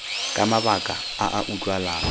ka mabaka a a utlwalang